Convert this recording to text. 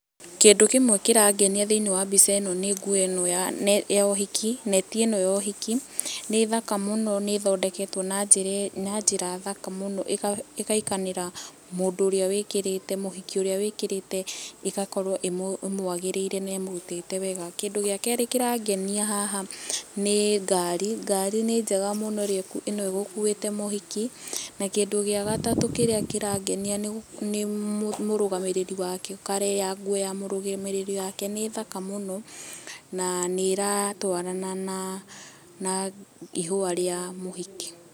Kindũ kĩmwe kĩrangenia thĩĩniĩ wa mbica ĩno nĩ nguo ĩno ya ũhiki neti ĩ no ya ũhiki. Nĩthaka mũno, nĩthondeketwo na njĩra njĩra thaka mũno, ikaiganĩra mũndũ ũrĩa wĩkĩrite mũhiki ũria wĩkĩrĩte ĩgakorwo ĩmwagĩrĩire na ĩmũrutĩte wega. Kindũ gĩa kerĩ kĩrangenia haha nĩ ngarĩ , ngarĩ nĩ njega mũno ĩrĩa ĩ no ĩgũkuĩte mũhiki, na kĩndũ gĩa gatatũ kĩrĩa kĩrangenia nĩ mũrũgamĩrĩri wake, colour ya nguo ya mũrũgamĩrĩri wake nĩ thaka mũno na nĩ ratwarana na na ihũa rĩa mũhiki.